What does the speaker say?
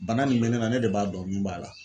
Bana min bɛ ne na ne de b'a dɔn min b'a la.